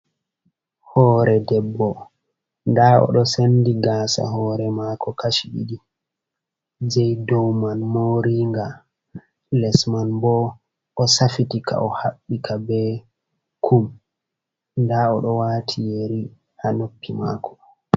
Hoore debbo, nda o ɗo sendi gaasa hoore maako kashi ɗiɗi, jei dow man moori'nga, les man bo o safitika, o haɓɓika be kum. Nda o do wati yeri ha noppi mako.